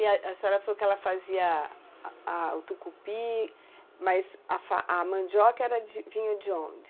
E a senhora falou que ela fazia a o tucupi, mas a mandioca vinha de onde?